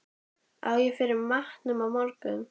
Á ég fyrir matnum á morgun?